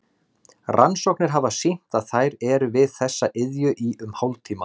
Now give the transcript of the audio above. Rannsóknir hafa sýnt að þær eru við þessa iðju í um hálftíma.